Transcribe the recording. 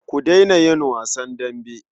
Ku daina yin wasan dambe.